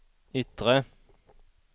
yttre